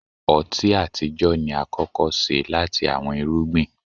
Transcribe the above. ọti atijọ ni akọkọ ṣe lati awọn irugbin.